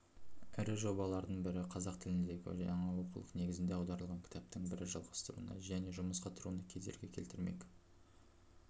ірі жобалардың бірі қазақ тіліндегі жаңа оқулық негізінде аударылған кітаптың бірі жалғастыруына және жұмысқа тұруына кедергі келтірмек